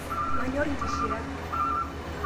Manyor nkishira